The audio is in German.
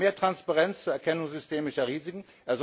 Er sorgt für mehr Transparenz zur Erkennung systemischer Risiken.